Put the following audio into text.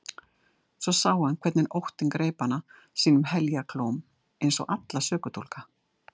Svo sá hann hvernig óttinn greip hana sínum heljarklóm eins og alla sökudólga.